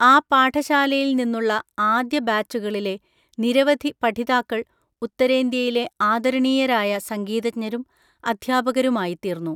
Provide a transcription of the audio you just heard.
ആ പാഠശാലയിൽനിന്നുള്ള ആദ്യബാച്ചുകളിലെ നിരവധി പഠിതാക്കൾ ഉത്തരേന്ത്യയിലെ ആദരണീയരായ സംഗീതജ്ഞരും അധ്യാപകരുമായിത്തീർന്നു.